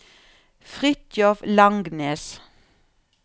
Fritjof Langnes